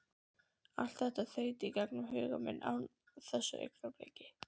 Allt þetta þaut í gegnum huga minn á þessu augnabliki.